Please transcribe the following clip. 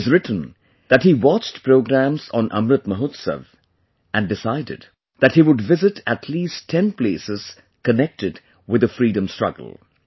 He has written that he watched programmes on Amrit Mahotsav and decided that he would visit at least ten places connected with the Freedom Struggle